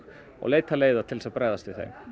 og leita leiða til að bregðast við þeim